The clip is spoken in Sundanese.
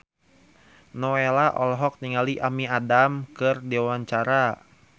Nowela olohok ningali Amy Adams keur diwawancara